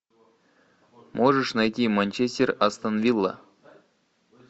можешь найти манчестер астон вилла